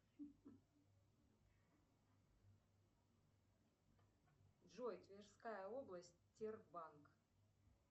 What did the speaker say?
джой тверская область тербанк